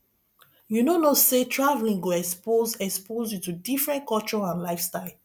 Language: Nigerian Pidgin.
you no know say traveling go expose expose you to different culture and lifestyle